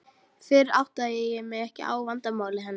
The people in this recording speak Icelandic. Fyrr áttaði ég mig ekki á vandamáli hennar.